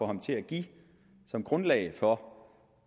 ham til at give som grundlag for